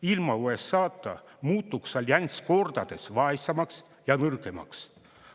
Ilma USA-ta muutuks allianss kordades vaesemaks ja nõrgemaks.